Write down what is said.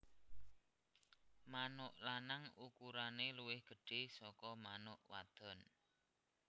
Manuk lanang ukurane luwih gedhé saka manuk wadon